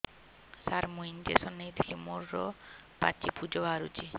ସାର ମୁଁ ଇଂଜେକସନ ନେଇଥିଲି ମୋରୋ ପାଚି ପୂଜ ବାହାରୁଚି